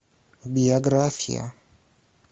биография